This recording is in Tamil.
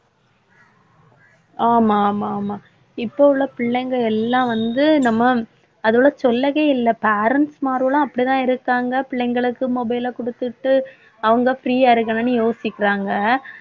ஆமா ஆமா ஆமா இப்ப உள்ள பிள்ளைங்க எல்லாம் வந்து நம்ம அதோட சொல்லவே இல்ல. parents மாரோலாம் அப்படித்தான் இருக்காங்க பிள்ளைங்களுக்கு mobile ல கொடுத்துட்டு அவங்க free யா இருக்கணும்ன்னு யோசிக்கிறாங்க.